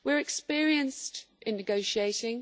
We are experienced in negotiating